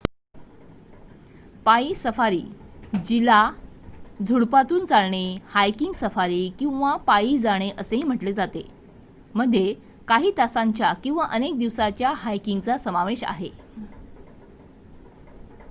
"पायी सफारी जिला "झुडूपांतून चालणे" "हायकिंग सफारी" किंवा "पायी" जाणे असेही म्हटले जाते मध्ये काही तासांच्या किंवा अनेक दिवसांच्या हायकिंगचा समावेश आहे.